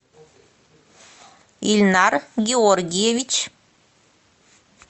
ильнар георгиевич